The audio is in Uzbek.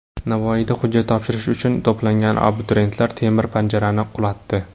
Navoiyda hujjat topshirish uchun to‘plangan abituriyentlar temir panjarani qulatdi .